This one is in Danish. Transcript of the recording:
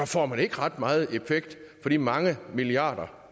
får man ikke ret meget effekt for de mange milliarder